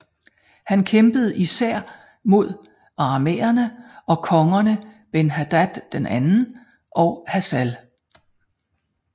Han kæmpede især mod arameerne og kongerne Ben Hadad II og Hasael